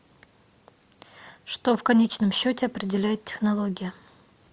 что в конечном счете определяет технология